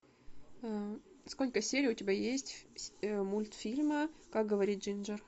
сколько серий у тебя есть мультфильма как говорит джинджер